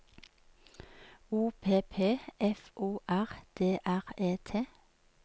O P P F O R D R E T